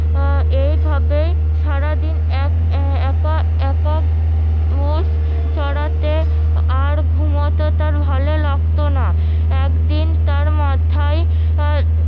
আহ এইভাবেই সারাদিন এক একা মোষ চড়াতে আর ঘুমাতে তার ভালো লাগতো না একদিন তার মাথায়